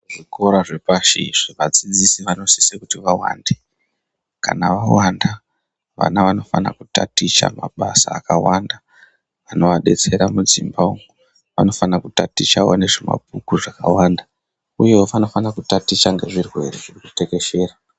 Zvikora zvepashi vadzidzisi vanosisa kuti vawande kana zvawanda vana vanofana kutaticha mabasa akawanda anovadetsera mudzimba umu vanofana kutaticha vawane zvemabhuku zvakawanda uye vanofana kutaticha ngezvirwere zvatekeshera.